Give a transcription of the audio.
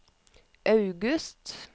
august